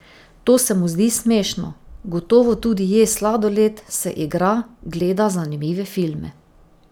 To se mu zdi smešno: "Gotovo tudi je sladoled, se igra, gleda zanimive filme.